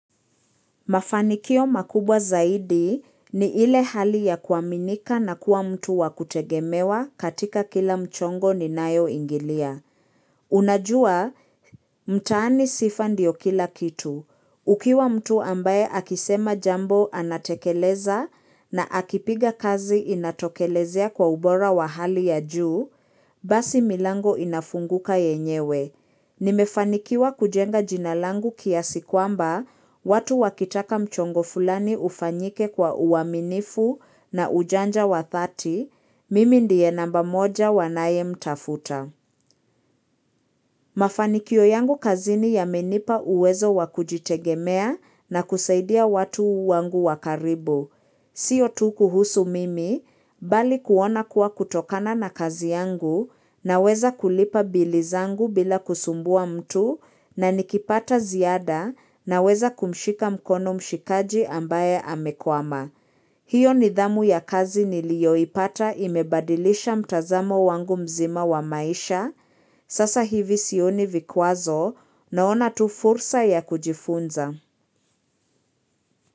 Mafanikio makubwa zaidi ni ile hali ya kuaminika na kuwa mtu wa kutegemewa katika kila mchongo ninayo ingilia. Unajua, mtaani sifa ndio kila kitu. Ukiwa mtu ambaye akisema jambo anatekeleza na akipiga kazi inatokelezea kwa ubora wa hali ya juu, basi milango inafunguka yenyewe. Nimefanikiwa kujenga jina langu kiasi kwamba watu wakitaka mchongo fulani ufanyike kwa uaminifu na ujanja wa dhati, mimi ndiye namba moja wanaye mtafuta. Mafanikyo yangu kazini yamenipa uwezo wakujitegemea na kusaidia watu wangu wa karibu. Sio tu kuhusu mimi, bali kuona kuwa kutokana na kazi yangu naweza kulipa bili zangu bila kusumbua mtu na nikipata ziada naweza kumshika mkono mshikaji ambaye amekwama. Hiyo nidhamu ya kazi nilio ipata imebadilisha mtazamo wangu mzima wa maisha. Sasa hivi sioni vikwazo naona tu fursa ya kujifunza.